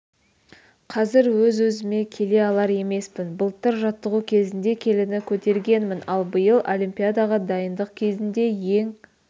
қазір өз-өзіме келе алар емеспін былтыр жаттығу кезінде келіні көтергенмін ал биыл олимпиадаға дайындық кезінде ең